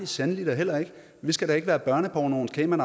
sandelig heller ikke vi skal da ikke være børnepornoens cayman